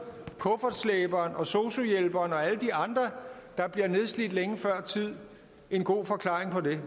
kuffertslæberen og sosu hjælperen og alle de andre der bliver nedslidt længe før tid en god forklaring på det